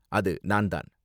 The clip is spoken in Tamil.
அது நான் தான்